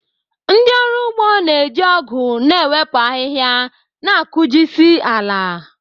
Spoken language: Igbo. Ndị ọrụ ugbo na-eji ọgu na-ewepụ ahịhịa na-akụjisị ala.